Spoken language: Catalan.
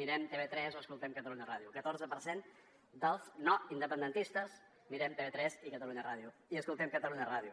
mirem tv3 o escoltem catalunya ràdio catorze per cent dels no independentistes mirem tv3 i escoltem catalunya ràdio